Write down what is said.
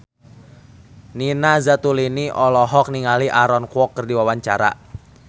Nina Zatulini olohok ningali Aaron Kwok keur diwawancara